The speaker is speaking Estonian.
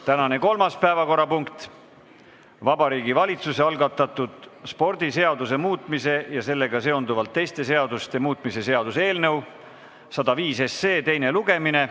Tänane kolmas päevakorrapunkt on Vabariigi Valitsuse algatatud spordiseaduse muutmise ja sellega seonduvalt teiste seaduste muutmise seaduse eelnõu 105 teine lugemine.